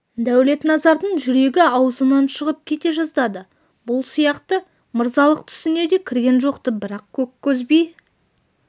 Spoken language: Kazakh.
дәулетназардың жүрегі аузынан шығып кете жаздады бұл сияқты мырзалық түсіне де кірген жоқ-ты бірақ көккөз би